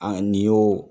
A nin y'o